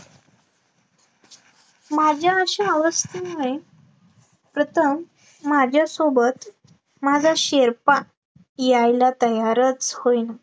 माझ्या अशा अवस्थेमुळे प्रथम माझ्यासोबत, माझा शेर्पा यायला तयारच होईना